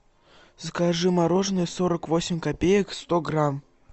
закажи мороженое сорок восемь копеек сто грамм